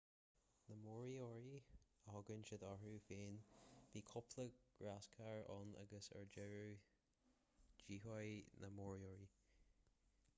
na moriori a thugann siad orthu féin bhí cúpla gráscar ann agus ar deireadh díothaíodh na moriori